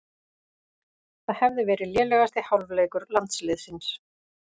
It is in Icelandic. Það hefði verið lélegasti hálfleikur landsliðsins